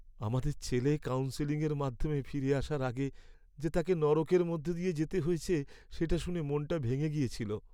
আমাদের ছেলে কাউন্সেলিংয়ের মাধ্যমে ফিরে আসার আগে যে তাকে নরকের মধ্য দিয়ে যেতে হয়েছে, সেটা শুনে মনটা ভেঙে গিয়েছিল।